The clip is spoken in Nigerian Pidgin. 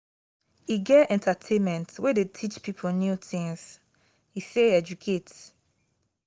e get entertainment wey dey teach pipo new things e sey educate